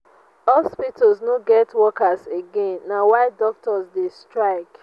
hospitals no get workers again na why doctors dey strike.